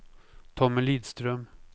Tommy Lidström